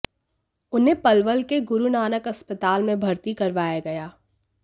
उन्हें पलवल के गुरु नानक अस्पताल में भर्ती करवाया गया